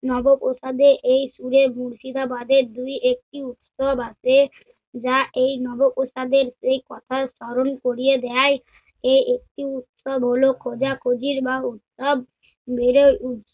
নবাবপ্রাসাদে এই সুরের মুর্শিদাবাদের দু-একটি উৎসব আছে যা এই নবাবপ্রাসাদের সেই কথার স্মরণ করিয়ে দেয়। এই একটি উৎসব হলো খোজা-খোজির বা উৎসব। বেড়ে উদ~